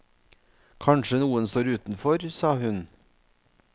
Kanskje noen står utenfor, sa hun.